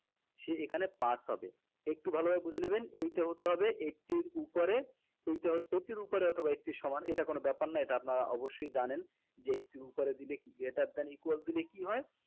সে এখানে pass হবে একটু ভালোভাবে বুঝে নেবেন এইটা হতে হবে eighty এর উপরে এইটা হতে eighty এর উপরে বা eighty এর সমান এটা কোনো ব্যাপার না এটা আপনারা অবশ্যই জানেন যে eighty এর উপরে দিলে কি greater than equal দিলে কি হয়